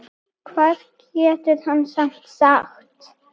Hvað getur hann samt sagt?